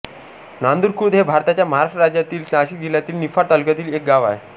नांदुर खुर्द हे भारताच्या महाराष्ट्र राज्यातील नाशिक जिल्ह्यातील निफाड तालुक्यातील एक गाव आहे